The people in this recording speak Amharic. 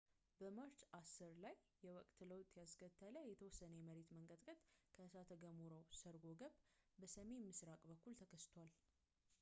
በማርች 10 ላይ የወቅት ለውጥ ያስከተለ የተወሰነ የመሬት መንቀጥቀጥ ከእሳተ ገሞራው ሰርጎ ገብ በሰሜን ምሥራቅ በኩል ተከስቷል